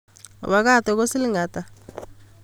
Obacado ko siling ata?